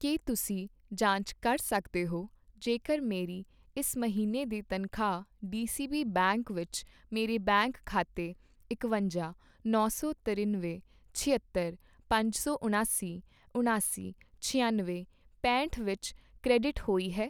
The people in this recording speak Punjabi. ਕੀ ਤੁਸੀਂਂ ਜਾਂਚ ਕਰ ਸਕਦੇ ਹੋ ਜੇਕਰ ਮੇਰੀ ਇਸ ਮਹੀਨੇ ਦੀ ਤਨਖਾਹ ਡੀਸੀਬੀ ਬੈਂਕ ਵਿੱਚ ਮੇਰੇ ਬੈਂਕ ਖਾਤੇ ਇਕਵੰਜਾ, ਨੌ ਸੌ ਤਰਿਨਵੇਂ, ਛਿਅੱਤਰ, ਪੰਜ ਸੌ ਉਣਾਸੀ, ਉਣਾਸੀ, ਛਿਆਨਵੇ, ਪੈਂਹਟ ਵਿੱਚ ਕ੍ਰੈਡਿਟ ਹੋਈ ਹੈ,